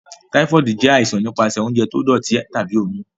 Typhoid jẹ aisan nipasẹ ounjẹ ti doti tabi omi.